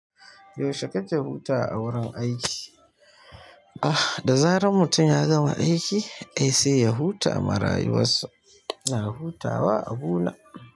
Yaushe kake hutawa a wurin aiki? Da zaran mutum ya gama aiki ai sai ya huta ma ra yuwassa, ina hutawa a abuna.